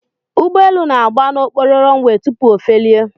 Ụgbọelu na-agba n'okporo runway tupu o felie